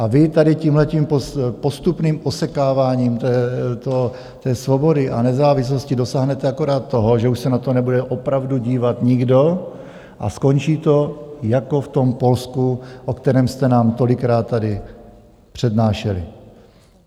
A vy tady tímhletím postupným osekáváním té svobody a nezávislosti dosáhnete akorát toho, že už se na to nebude opravdu dívat nikdo a skončí to jako v tom Polsku, o kterém jste nám tolikrát tady přednášeli.